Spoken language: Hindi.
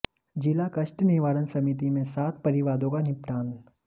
जिला कष्ट निवारण समिति में सात परिवादों का निपटान